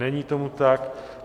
Není tomu tak.